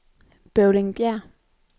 Bøvlingbjerg